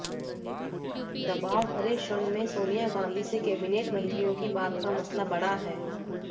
दबाव भरे क्षण में सोनिया गांधी से कैबिनेट मंत्रियों की बात का मसला बड़ा है